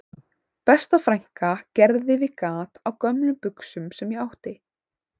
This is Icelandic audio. Besta frænka gerði við gat á gömlum buxum sem ég átti